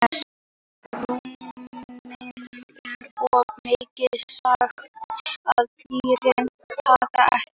Í rauninni er of mikið sagt að dýrin tali ekki.